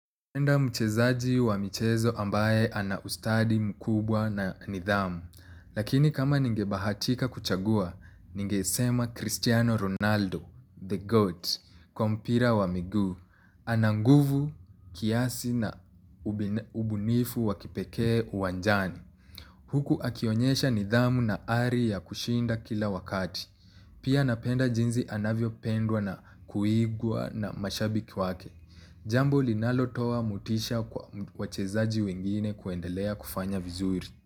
Napenda mchezaji wa michezo ambaye anaustadi mkubwa na nidhamu, lakini kama ningebahatika kuchagua, ningesema Cristiano Ronaldo, the GOAT, kwa mpira wa miguu, ananguvu kiasi na ubunifu wa kipekee uwanjani. Huku akionyesha nidhamu na ari ya kushinda kila wakati. Pia napenda jinsi anavyopendwa na kuigwa na mashabiki wake. Jambo linalotoa motisha kwa wachezaji wengine kuendelea kufanya vizuri.